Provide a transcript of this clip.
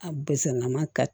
A bɛsɛnɛlama ka